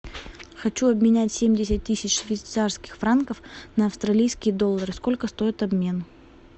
хочу обменять семьдесят тысяч швейцарских франков на австралийские доллары сколько стоит обмен